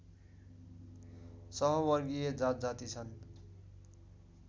सहवर्गीय जातजाति छन्